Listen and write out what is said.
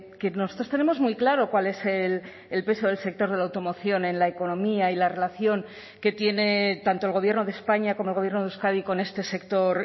que nosotros tenemos muy claro cuál es el peso del sector de la automoción en la economía y la relación que tiene tanto el gobierno de españa como el gobierno de euskadi con este sector